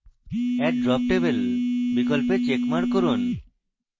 add drop table বিকল্পে checkmark করুন